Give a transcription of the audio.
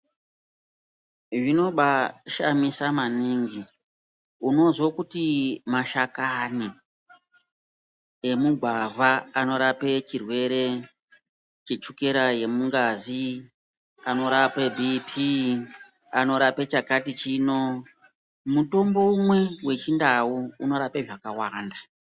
Zvinobashamisa maningi unozwa kuti mashakani emugwavha anorapa chirwere chechukera yemungazi, anorape bhipii, anorape chakati chino, mutombo umwe wechindau unorapa zvakawanda.